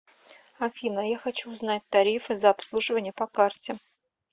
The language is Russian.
афина я хочу узнать тарифы за обслуживание по карте